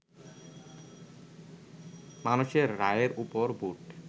মানুষের রায়ের ওপর ভোট